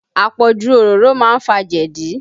Àpọ̀jù òróró má ń fa jẹ̀dí